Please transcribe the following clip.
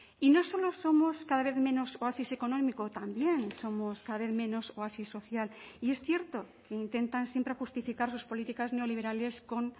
y no solo somos cada vez menos oasis económico también somos cada vez menos oasis social y es cierto intentan siempre justificar sus políticas neoliberales con